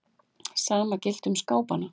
Sama gilti um skápana.